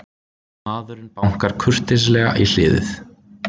Maðurinn bankar kurteislega í hliðið.